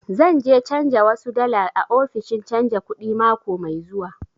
Zan je canja wasu dala a ofishin canja kuɗi mako mai zuwa